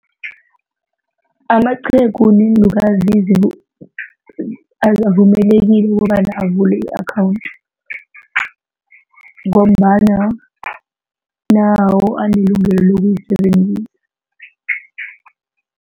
Amaqhegu neenlukazi avumelekile ukobana avule i-akhawundi ngombana nawo anelungelo lokuyisebenzisa.